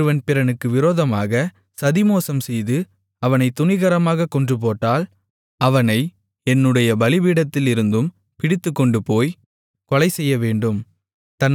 ஒருவன் பிறனுக்கு விரோதமாக சதிமோசம்செய்து அவனைத் துணிகரமாகக் கொன்றுபோட்டால் அவனை என்னுடைய பலிபீடத்திலிருந்தும் பிடித்துக்கொண்டுபோய்க் கொலைசெய்யவேண்டும்